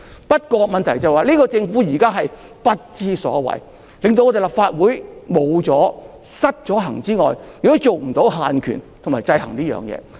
不過，問題是現屆政府真的不知所謂，令立法會除失衡外，亦無法對政府限權和制衡。